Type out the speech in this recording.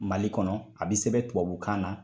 Mali kɔnɔ a bɛ sɛbɛn tubabukan na.